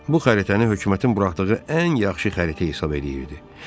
Bu xəritəni hökumətin buraxdığı ən yaxşı xəritə hesab eləyirdi.